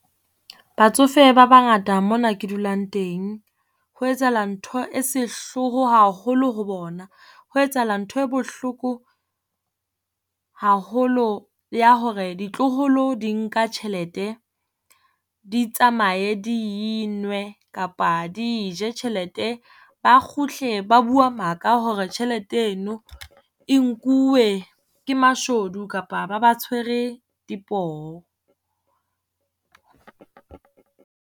Batsofe ba bangata mona ke dulang teng. Ho etsahala ntho e sehloho haholo ho bona. Ho etsahala ntho e bohloko haholo ya hore ditloholo di nka tjhelete, di tsamaye di e nwe kapa di e je tjhelete. Ba kgutle ba bua maka hore tjhelete eno e nkuwe ke mashodu kapa ba ba tshwere dipoo.